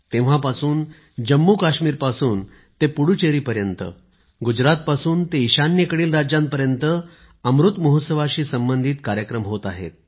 तेव्हापासून जम्मूकाश्मीर पासून ते पुडदूचेरीपर्यंत गुजरातपासून ते ईशान्येकडील राज्यांपर्यंत अमृत महोत्सवासही संबंधित कार्यक्रम होत आहेत